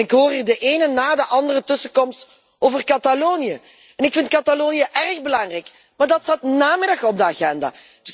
Ik hoor hier de ene na de andere tussenkomst over Catalonië en ik vind Catalonië erg belangrijk, maar dat staat vanmiddag op de agenda.